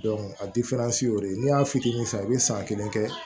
a y'o de ye n'i y'a fitinin san i be san kelen kɛ